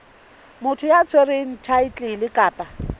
motho ya tshwereng thaetlele kapa